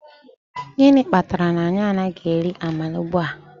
Gịnị kpatara na anyị anaghị eri amala ugbua?